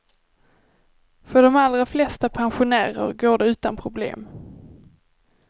För de allra flesta pensionärer går det utan problem.